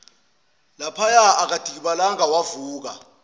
laphaya akadikibalanga wavuka